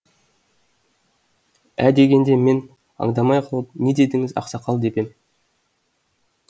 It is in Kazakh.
ә дегенде мен аңдамай қалып не дедіңіз ақсақал деп ем